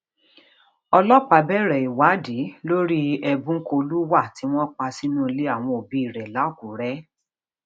ọlọpàá bẹrẹ ìwádìí lórí ebúnkolúwà tí wọn pa sínú ilé àwọn òbí rẹ lákùrẹ